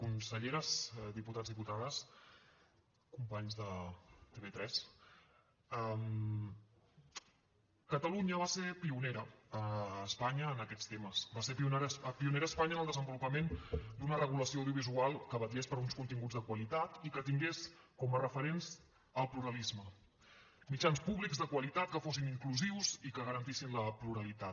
conselleres diputats diputades companys de tv3 catalunya va ser pionera a espanya en aquests temes va ser pionera a espanya en el desenvolupament d’una regulació audiovisual que vetllés per uns continguts de qualitat i que tingués com a referents el pluralisme mitjans públics de qualitat que fossin inclusius i que garantissin la pluralitat